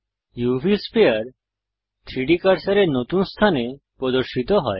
উভ sphere 3ডি কার্সারের নতুন স্থানে প্রদর্শিত হয়